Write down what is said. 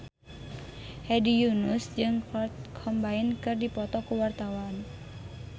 Hedi Yunus jeung Kurt Cobain keur dipoto ku wartawan